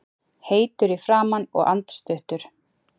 Heitur í framan og andstuttur.